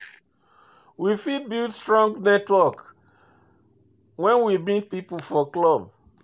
We fit build strong network when we meet pipo for club